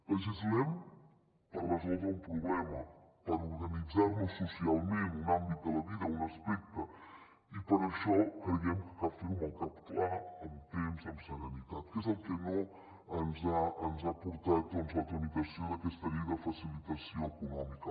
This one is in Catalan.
legislem per resoldre un problema per organitzar nos socialment un àmbit de la vida un aspecte i per això creiem que cal fer ho amb el cap clar amb temps amb serenitat que és el que no ens ha portat doncs la tramitació d’aquesta llei de facilitació econòmica